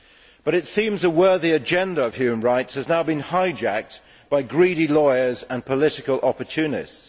But it seems that a worthy agenda of human rights has now been hijacked by greedy lawyers and political opportunists.